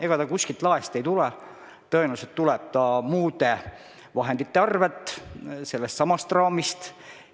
Ega see kuskilt laest ei tule, tõenäoliselt tuleb muude vahendite arvel sellestsamast raamist.